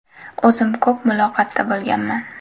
O‘zim ko‘p muloqotda bo‘lganman.